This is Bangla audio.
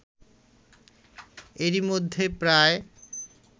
এরই মধ্যে প্রায়